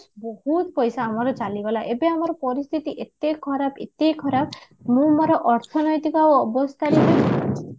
ବହୁତ ପଇସା ଆମର ଚାଲିଗଲା ଏବେ ଆମର ପରିସ୍ଥିତି ଏତେ ଖରାପ ଏତେ ଖରାପ ମୁଁ ମୋର ଅର୍ଥନୈତିକ ଆଉ ଅବସ୍ଥାରେ